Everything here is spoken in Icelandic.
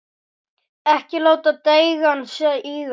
Ekki láta deigan síga.